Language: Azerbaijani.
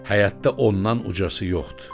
Həyətdə ondan ucası yoxdur.